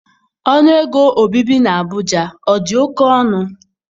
Ọnụ ego obibi na Abuja ọ dị oke ọnụ?